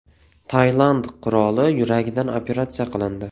Tailand qiroli yuragidan operatsiya qilindi.